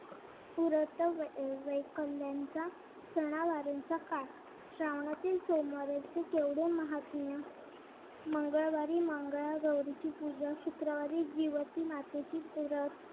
पुरत वैकल्यांचा सणावारांचा काळ श्रावणातील सोमवार याचे केवढे माहात्म्य मंगळवारी मंगळागौरीची पूजा शुक्रवारी मातेची पूजा